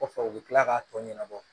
Kɔfɛ u bɛ tila k'a tɔ ɲɛnabɔ